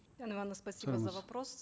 спасибо за вопрос